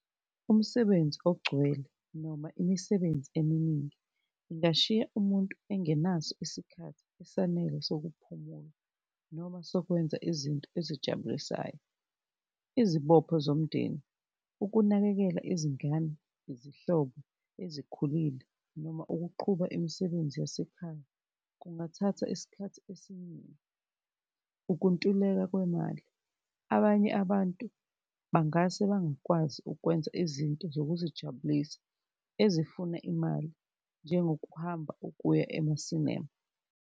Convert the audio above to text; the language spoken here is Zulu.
Umsebenzi ogcwele noma imisebenzi eminingi ibashiya umuntu engenaso isikhathi esanele sokuphumula noma sokwenza izinto ezijabulisayo. Izibopho zomndeni, ukunakekela izingane, izihlobo ezikhulile noma ukuqhuba imisebenzi yasekhaya kungathatha isikhathi esiningi. Ukuntuleka kwemali, abanye abantu bangase bangakwazi ukwenza izinto zokuzijabulisa ezifuna imali njengokuhamba ukuya emasinema.